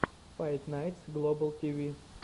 файт найтс глобал тв